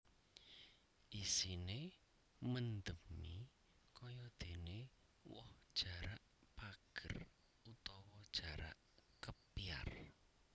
Isine mendemi kayadene woh jarak pager utawa jarak kepyar